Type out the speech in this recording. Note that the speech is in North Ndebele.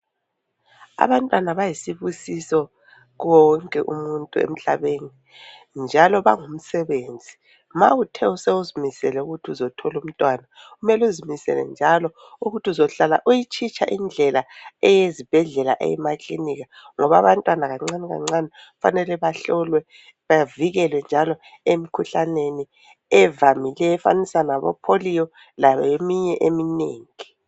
Abantwana bayisibusiso kuwo wonke umuntu emhlabeni njalo bangumsebenzi. Ma uthe sewuzimisele ukuthi uzotholumntwana, kumele uzimisele njalo ukuthi uzohlala uyitshitsha indlela eyezibhedlela eyemaklinika ngoba abantwana kancane kancane kufanele bahlolwe bavikelwe njalo emikhuhlaneni evamileyo efanisa labopholiyo leminye eminengi.